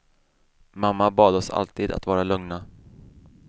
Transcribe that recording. Mamma bad oss alltid att vara lugna.